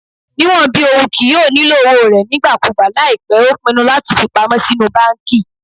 Niwọn bi oun kii yoo nilo owo rẹ nigbakugba laipẹ o pinnu lati fipamọ sinu banki